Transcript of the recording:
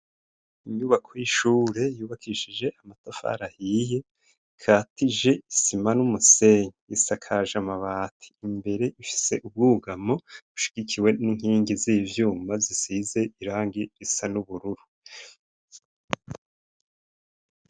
Inyubako y'ishure yubakishije amatafar'ahiye, ikatije isima n'umusenyi, isakaje amabati imbere ifise ubwugamo ushigikiwe n'inkingi z'ivyuma zisize irangi risa n'ubururu